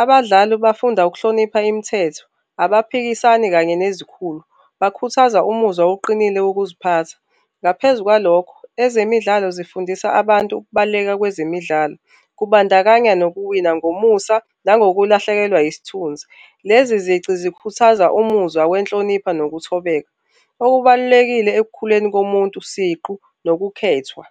Abadlali bafunda ukuhlonipha imithetho abaphikisani kanye nezikhulu, bakhuthaza umuzwa oqinile wokuziphatha. Ngaphezu kwalokho, ezemidlalo zifundisa abantu ukubaluleka kwezemidlalo kubandakanya nokuwina ngomusa nangokulahlekelwa yisithunzi. Lezi zici zikhuthaza umuzwa wenhlonipho nokuthobeka, okubalulekile ekukhuleni komuntu siqu nokukhethwa.